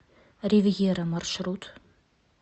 ривьера маршрут